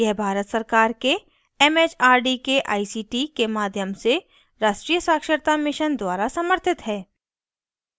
यह भारत सरकार के it it आर डी के आई सी टी के माध्यम से राष्ट्रीय साक्षरता mission द्वारा समर्थित है